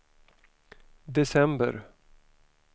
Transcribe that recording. december